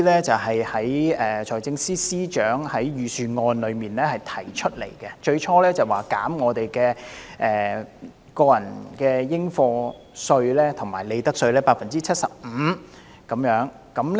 最初，財政司司長在財政預算案中提出，減免薪俸稅、個人入息課稅和利得稅 75%。